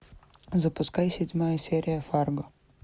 запускай седьмая серия фарго